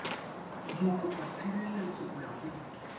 mokopatshireletso go ya go ile